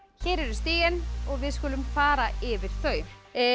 hér eru stigin og við skulum fara yfir þau